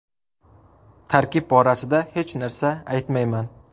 Tarkib borasida hech narsa aytmayman.